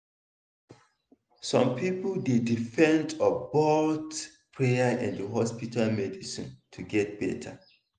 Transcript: some people dey depend on both prayer and hospital medicine to get better.